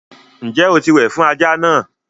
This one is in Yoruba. Ǹjẹ́ o ti wẹ̀ fún ajá náà?